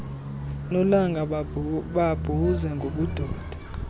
nolanga bambuze ngobudoda